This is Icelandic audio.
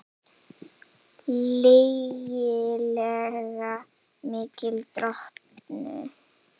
Lygilega mikil drottnun